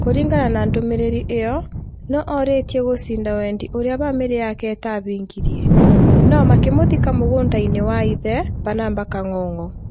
Kũringana na ndũmĩrĩri ĩo, no orĩtie gũcinda-wendi ũrĩa bamirĩ yake ĩtahingirie, no makimũthika mugunda-inĩ wa ithe Barnaba Kangogo.